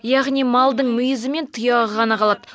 яғни малдың мүйізі мен тұяғы ғана қалады